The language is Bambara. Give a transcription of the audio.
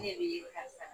Ne yɛrɛ ye karisa